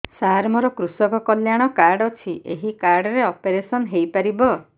ସାର ମୋର କୃଷକ କଲ୍ୟାଣ କାର୍ଡ ଅଛି ଏହି କାର୍ଡ ରେ ଅପେରସନ ହେଇପାରିବ